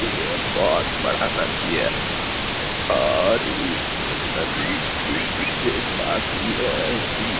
यह बहुत बड़ा नदी है और इस नदी की बिशेष बात यह है की --